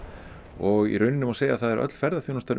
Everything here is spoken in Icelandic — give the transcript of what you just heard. og í rauninni má segja að öll ferðaþjónustan